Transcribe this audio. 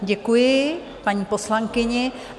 Děkuji paní poslankyni.